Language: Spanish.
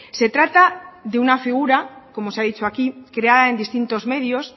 se trata de una figura como se ha dicho aquí creada en distintos medios